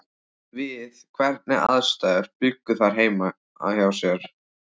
Við hvernig aðstæður bjuggu þær heima hjá sér?